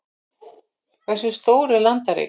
Hversu stór er landareign?